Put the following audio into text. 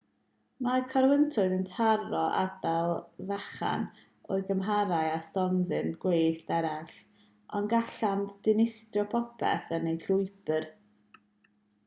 mae corwyntoedd yn taro ardal fechan o'u cymharu â stormydd gwyllt eraill ond gallant ddinistrio popeth yn eu llwybr